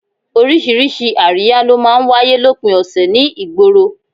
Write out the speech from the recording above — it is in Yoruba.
Oríṣiríṣi àríyá ló máa ń wáyé lópin ọ̀sẹ̀ ní ìgboro